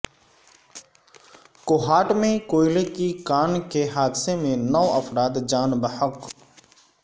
کوہاٹ میں کوئلے کی کان کے حادثے میں نو افراد جان بحق